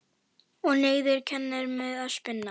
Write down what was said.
Og neyðin kennir mér að spinna.